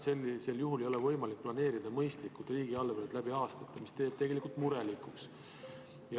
Sellisel juhul ei ole võimalik planeerida mõistlikult riigieelarvet läbi aastate, mis teeb tegelikult murelikuks.